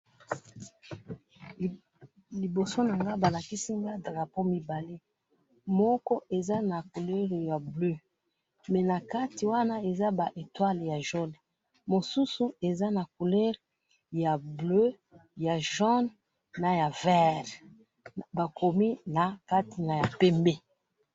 Awa na moni batu mibale moindo na mundele nakati na bango ba bendele mibale.